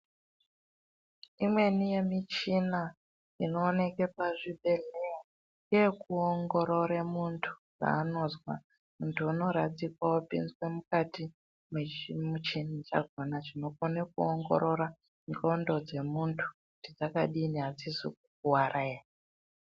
Imweni ye michina inooneke pa zvibhedhleya nge yeku ongorore muntu zva anonzwa untu uno radzikwa opinzwe mukati me chimu china chakona chinokone kuongorora ndxondo dze muntu kuti dzaka dii adzizi ku kwaara ere.